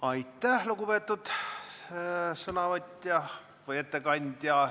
Aitäh, lugupeetud ettekandja!